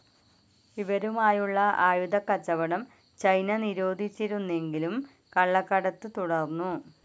ഇവരുമായുള്ള ആയുധക്കച്ചവടം ചൈന നിരോധിച്ചിരുന്നുവെങ്കിലും ക‌ള്ളക്കടത്ത് തുടർന്നു.